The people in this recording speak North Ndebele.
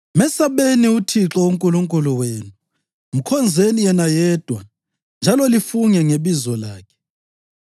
Mesabeni uThixo uNkulunkulu wenu, mkhonzeni yena yedwa njalo lifunge ngebizo lakhe.